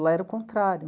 Lá era o contrário.